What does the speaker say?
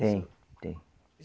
Tem, tem.